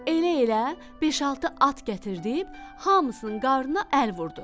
Elə-elə beş-altı at gətirtdirib, hamısının qarnına əl vurdu.